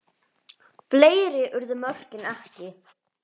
Fleiri urðu mörkin ekki.